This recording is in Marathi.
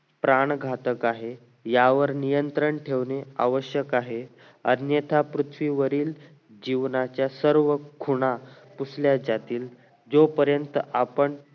प्राण घातक आहे यावर नियंत्रण ठेवणे आवश्यक आहे अन्यथा पृथवी वरील जीवनाच्या सर्व खुणा पुसल्या जातील ज्यू पर्यंत आपण